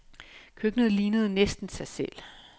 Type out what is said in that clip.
Køkkenet lignede næsten sig selv.